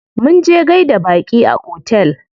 Munje gaida baƙi a otel.